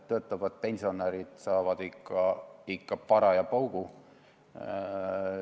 Töötavad pensionärid saavad ikka paraja paugu.